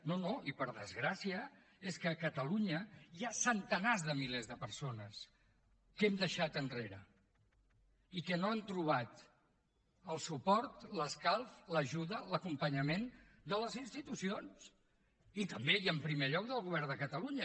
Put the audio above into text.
no no i per desgràcia és que a catalunya hi ha centenars de milers de persones que hem deixat enrere i que no han trobat el suport l’escalf l’ajuda l’acompanyament de les institucions i també i en primer lloc del govern de catalunya